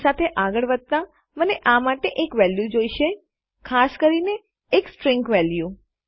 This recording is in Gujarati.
તે સાથે આગળ વધતા મને આ માટે એક વેલ્યુ જોઇશે ખાસ કરીને એક સ્ટ્રીંગ વેલ્યુ